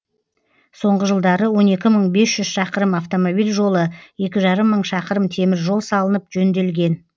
соңғы жылдары он екі мың бес жүз шақырым автомобиль жолы екі жарым мың шақырым темір жол салынып жөнделген